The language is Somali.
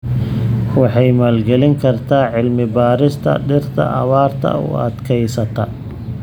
Waxay maalgelin kartaa cilmi-baarista dhirta abaarta u adkeysata.